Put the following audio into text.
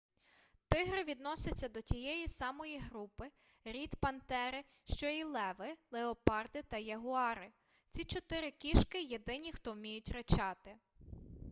тигри відносяться до тієї самої групи рід пантери що і леви леопарди та ягуари. ці чотири кішки – єдині хто вміють ричати